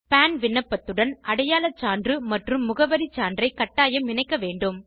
பான் விண்ணப்பத்துடன் அடையாள சான்று மற்றும் முகவரி சான்றை கட்டாயம் இணைக்க வேண்டும்